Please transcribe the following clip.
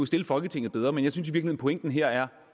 stille folketinget bedre men jeg synes i virkeligheden at pointen her er